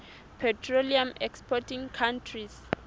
petroleum exporting countries